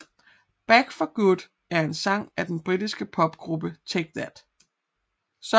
Back for Good er en sang af den britiske popgruppe Take That